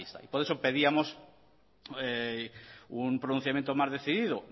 ahí está por eso pedíamos un pronunciamiento más decidido